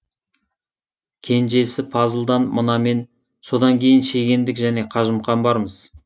кенжесі пазылдан мына мен содан кейін шегендік және қажымұқан бармыз